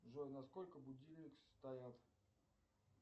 джой на сколько будильник стоял